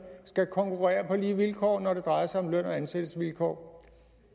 skal konkurrere på lige vilkår når det drejer sig om løn og ansættelsesvilkår